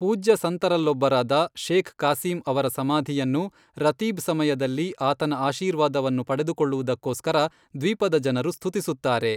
ಪೂಜ್ಯ ಸಂತರಲ್ಲೊಬ್ಬರಾದ ಶೇಖ್ ಕಾಸಿಂ ಅವರ ಸಮಾಧಿಯನ್ನು ರತೀಬ್ ಸಮಯದಲ್ಲಿ ಆತನ ಆಶೀರ್ವಾದವನ್ನು ಪಡೆದುಕೊಳ್ಳುವುದಕ್ಕೋಸ್ಕರ ದ್ವೀಪದ ಜನರು ಸ್ತುತಿಸುತ್ತಾರೆ.